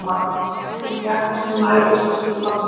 Fellibylurinn mjakast nú nær austurströnd Bandaríkjanna